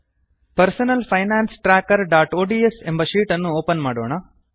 personal finance trackerಒಡಿಎಸ್ ಹಾಳೆಯನ್ನು ಅನ್ನು ಒಪನ್ ಮಾಡೊಣ